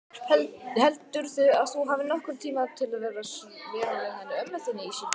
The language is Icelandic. Heldurðu að þú hafir nokkurn tíma til að vera með henni ömmu þinni í síldinni?